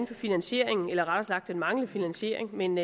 på finansieringen eller rettere sagt den manglende finansiering men